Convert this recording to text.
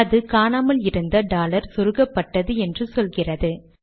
அது காணாமல் இருந்த டாலர் சொருகப்பட்டது என்று சொல்கிறது